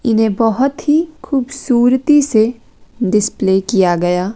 इन्हें बहोत ही खूबसूरती से डिस्प्ले किया गया--